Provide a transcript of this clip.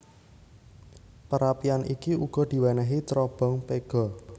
Perapian iki uga diwénéhi cerobong pega